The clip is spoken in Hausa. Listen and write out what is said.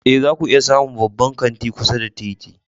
Ee, zaku iya samun babban kanti kusa da titi.